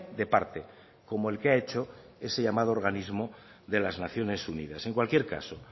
de parte como el que ha hecho ese llamado organismo de las naciones unidas en cualquier caso